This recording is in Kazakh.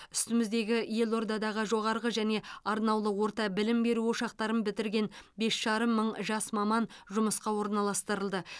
үстіміздегі елордадағы жоғарғы және арнаулы орта білім беру ошақтарын бітірген бес жарым мың жас маман жұмысқа орналастырылды